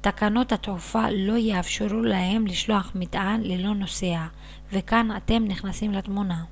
תקנות התעופה לא יאפשרו להם לשלוח מטען ללא נוסע וכאן אתם נכנסים לתמונה